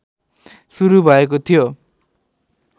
सुरु भएको थियो